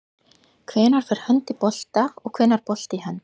Hvenær fer hönd í bolta og hvenær bolti í hönd?